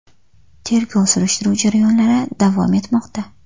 Tergov-surishtiruv jarayonlari davom etmoqda.